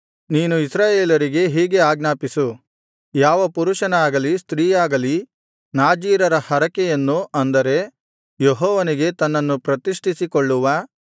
ನೀನು ಇಸ್ರಾಯೇಲರಿಗೆ ಹೀಗೆ ಆಜ್ಞಾಪಿಸು ಯಾವ ಪುರುಷನಾಗಲಿ ಸ್ತ್ರೀಯಾಗಲಿ ನಾಜೀರರ ಹರಕೆಯನ್ನು ಅಂದರೆ ಯೆಹೋವನಿಗೆ ತನ್ನನ್ನು ಪ್ರತಿಷ್ಠಿಸಿಕೊಳ್ಳುವ